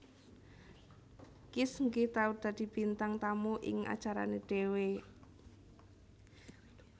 Kiss nggih tau dadi bintang tamu ing acarane dewe